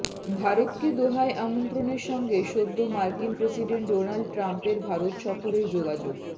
ভারতকে দোহায় আমন্ত্রণের সঙ্গে সদ্য মার্কিন প্রেসিডেন্ট ডোনাল্ড ট্রাম্পের ভারত সফরের যোগাযোগ